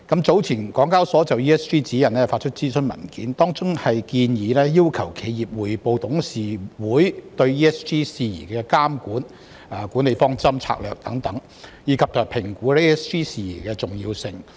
聯交所早前就《ESG 報告指引》發出諮詢文件，當中建議要求企業匯報董事會對 ESG 事宜的監管、管理方針和策略等，以及評估 ESG 事宜的重要性。